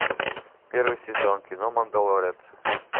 первый сезон кино мандалорец